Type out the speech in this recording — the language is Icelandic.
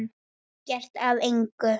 Ekkert af engu.